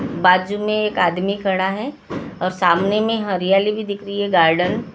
बाजु में एक आदमी कड़ा है और सामने में हर्याली भी दिखरहि है गार्डन --